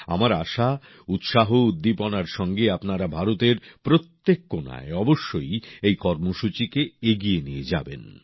আমার আশা উৎসাহউদ্দীপনার সঙ্গে আপনারা ভারতের প্রত্যেক কোণায় অবশ্যই এই কর্মসূচীকে এগিয়ে নিয়ে যাবেন